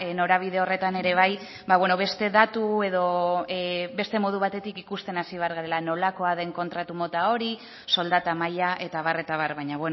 norabide horretan ere bai beste datu edo beste modu batetik ikusten hasi behar garela nolakoa den kontratu mota hori soldata maila eta abar eta abar baina